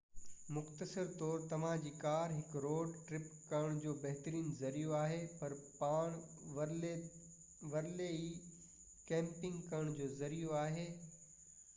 مختصر طور توهانجي ڪار هڪ روڊ ٽرپ ڪرڻ جو بهترين ذريعو آهي پر پاڻ ورلي ئي ڪيمپنگ ڪرڻ جو ذريعو آهي